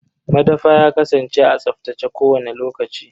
Madafa ya kasance a tsaftace kowani lokaci.